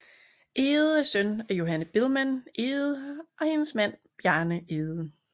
Egede er søn af Johanne Biilmann Egede og hendes mand Bjarne Egede